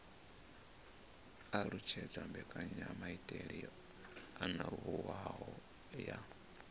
alutshedza mbekanyamaitele yo anavhuwaho ya